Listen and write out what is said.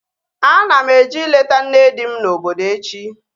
Ana m eje ileta nne di m na obodo echi